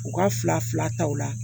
U ka fila fila ta o la